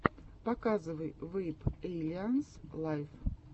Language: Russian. показывай вэйп эйлианс лайв